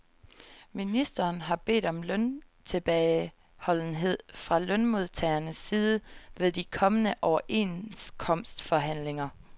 Ministeren har bedt om løntilbageholdenhed fra lønmodtagernes side ved de kommende overenskomstforhandlinger.